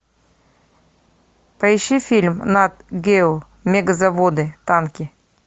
поищи фильм нат гео мегазаводы танки